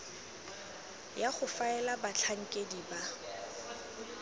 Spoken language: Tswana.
ya go faela batlhankedi ba